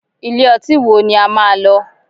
Ilé ọtí wo ni a máa lọ?